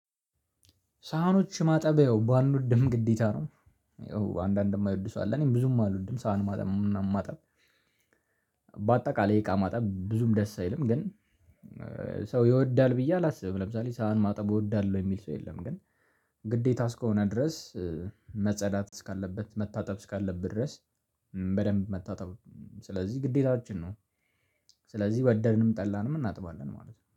ሳህኖች ማጠብ ያው ባልወድም ግዴታ ነው። አንዳንድ የማይወድ ሰው አለ እኔም ብዙም አልወድም ሳህን ማጠብ ምናምን ማጠብ። በአጠቃላይ እቃ ማጠብ ብዙም ደስ አይልም ግን። ሰው ይወዳል ብዬ አላስብም ለምሳሌ ሳህን ማጠብ እወዳለሁ የሚል ሰው የለም። ግን ግዴታ እስከሆነ ድረስ መጸዳት እስካለበት መታጠብ እስካለበት ድረስ በደንብ መታጠብ ስለዚህ ግዴታችን ነው። ስለዚህ ወደንንም ጠላንም እናጥባለን ማለት ነው